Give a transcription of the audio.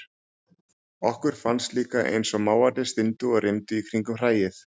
Okkur fannst líka einsog mávarnir styndu og rymdu í kringum hræið.